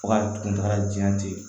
Fo ka kuntagala jan